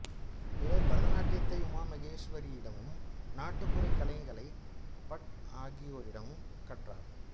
இவர் பரதநாட்டியத்தை உமா மகேஸ்வரியிடமும் நாட்டுப்புறக் கலைகளை பட் ஆகியோரிடமும் கற்றார்